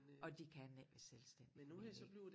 Og de kan ikke være selvstændige men øh